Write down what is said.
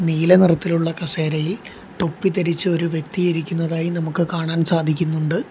നീല നിറത്തിലുള്ള കസേരയിൽ തൊപ്പി ധരിച്ച് ഒരു വ്യക്തി ഇരിക്കുന്നതായി നമുക്ക് കാണാൻ സാധിക്കുന്നുണ്ട്.